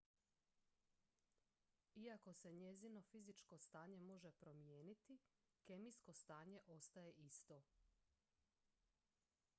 iako se njezino fizičko stanje može promijeniti kemijsko stanje ostaje isto